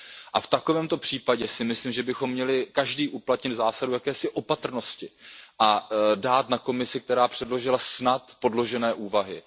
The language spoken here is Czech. A v takovémto případě si myslím, že bychom měli každý uplatnit zásadu jakési opatrnosti a dát na Komisi, která předložila snad podložené úvahy.